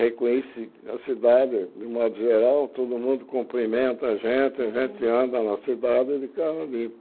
Reconheci a cidade de modo geral, todo mundo cumprimenta a gente, a gente anda na cidade de carro limpo.